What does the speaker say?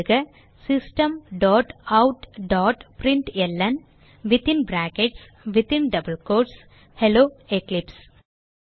எழுதுக systemoutபிரின்ட்ல்ன் hello Eclipse